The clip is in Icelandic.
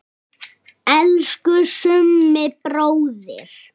Elsku Summi bróðir.